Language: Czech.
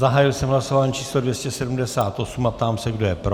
Zahájil jsem hlasování číslo 278 a ptám se, kdo je pro.